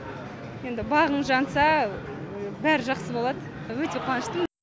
енді бағың жанса бәрі жақсы болады өте қуаныштымын